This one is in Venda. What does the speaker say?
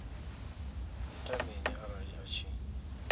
ita mini arali a tshi